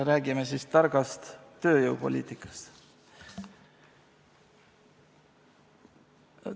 Räägime siis targast tööjõupoliitikast.